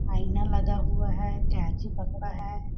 आईना लगा हुआ है कैंची पकड़ा है।